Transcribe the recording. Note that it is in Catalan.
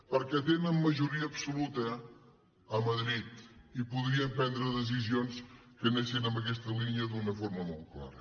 perquè tenen majoria absoluta a madrid i podrien prendre decisions que anessin en aquesta línia d’una forma molt clara